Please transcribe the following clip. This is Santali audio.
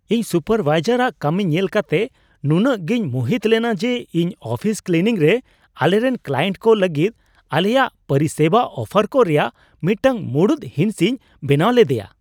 ᱤᱧ ᱥᱩᱯᱟᱨᱵᱷᱟᱭᱡᱟᱨᱟᱜ ᱠᱟᱹᱢᱤ ᱧᱮᱞ ᱠᱟᱛᱮ ᱱᱩᱱᱟᱹᱜ ᱜᱤᱧ ᱢᱩᱦᱤᱛ ᱞᱮᱱᱟ ᱡᱮ ᱤᱧ ᱚᱯᱷᱤᱥ ᱠᱞᱤᱱᱤᱝ ᱨᱮ ᱟᱞᱮᱨᱮᱱ ᱠᱠᱞᱟᱭᱮᱱᱴ ᱠᱚ ᱞᱟᱹᱜᱤᱫ ᱟᱞᱮᱭᱟᱜ ᱯᱚᱨᱤᱥᱮᱵᱟ ᱚᱯᱷᱟᱨ ᱠᱚ ᱨᱮᱭᱟᱜ ᱢᱤᱫᱴᱟᱝ ᱢᱩᱲᱩᱫ ᱦᱤᱸᱥᱤᱧ ᱵᱮᱱᱟᱣ ᱞᱮᱫᱮᱭᱟ ᱾